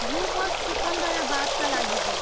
यो बस सिकन्दराबादका लागि हो।